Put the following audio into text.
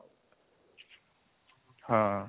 ହଁ